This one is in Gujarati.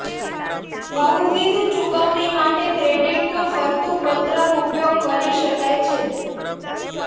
બહુવિધ ચૂકવણી માટે ક્રેડિટનો ફરતું પત્રક ઉપયોગ કરી શકાય છે